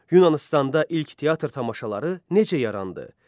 Yunanıstanda ilk teatr tamaşaları necə yarandı?